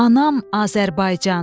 Anam Azərbaycan.